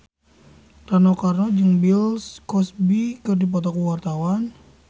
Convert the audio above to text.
Rano Karno jeung Bill Cosby keur dipoto ku wartawan